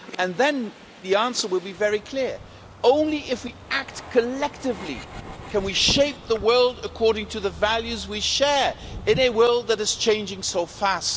Then the answer will be very clear only if we act collectively can we shape the world according to the values we share in a world that is changing so fast.